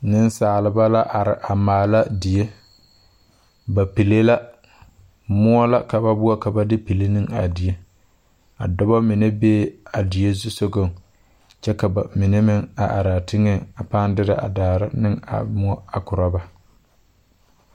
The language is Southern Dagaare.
Nensalba la are a maala die ba pilee la moɔ la ka ba boɔrɔ ka ba de pili ne a die a dɔb. mine bee a die zusogaŋ kyɛ ka ba mine meŋ a are a teŋɛŋ pãâ derɛ a daare ne a moɔ a korɔ ba.